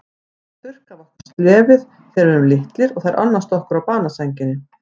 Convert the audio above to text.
Þær þurrka af okkur slefið þegar við erum litlir og þær annast okkur á banasænginni.